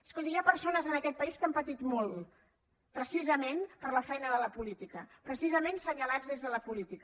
escolti hi ha persones en aquest país que han patit molt precisament per la feina de la política precisament assenyalats des de la política